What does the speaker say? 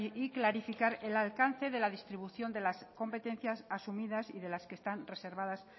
y clarificar el alcance de la distribución de las competencias asumidas y de las que están reservadas